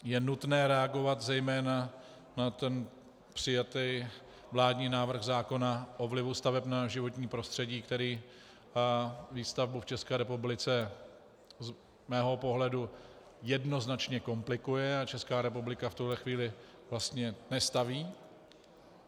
Je nutné reagovat zejména na ten přijatý vládní návrh zákona o vlivu staveb na životní prostředí, který výstavbu v České republice z mého pohledu jednoznačně komplikuje, a Česká republika v tuhle chvíli vlastně nestaví.